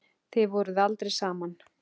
Þið voruð aldrei saman.